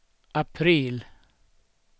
april